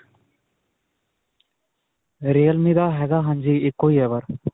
realme ਦਾ ਹੈਗਾ. ਹਾਂਜੀ, ਇੱਕੋ ਹੀ ਹੈ ਪਰ.